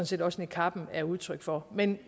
set også niqabben er udtryk for men